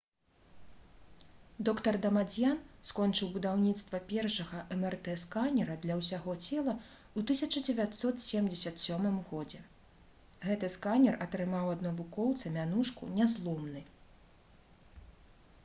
др. дамадзьян скончыў будаўніцтва першага мрт-сканера «для ўсяго цела» у 1977 г. гэты сканер атрымаў ад навукоўца мянушку «нязломны»